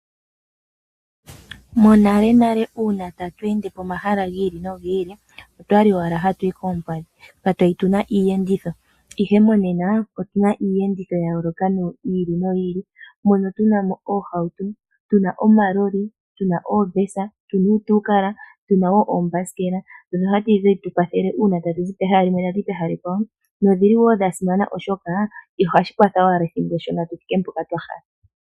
Monalenale uuna tatu ende pomahala gi ili nogi ili, otwa li owala hatu yi koompadhi. Katwa li tu na iiyenditho, ihe monena otu na iiyenditho ya yooloka yi ili noyi ili, mono tu na mo oohauto, tu na omalolilo, tu na oombesa, tu na uutuukala, tu na wo oombasikela ndhono hadhi tu kwathele uuna tatu zi pehala limwe tu uka pehala ekwawo. Odhi li wo dha simana, oshoka ohashi kwata owala ethimbo eshona tu thike mpoka twa hala.